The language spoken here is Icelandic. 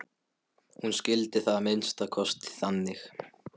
Hún skildi það að minnsta kosti þannig.